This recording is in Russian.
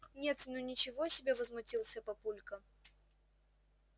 нет ну ничего себе возмутился папулька